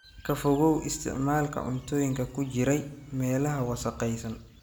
Ka fogow isticmaalka cuntooyinka ku jiray meelaha wasakhaysan.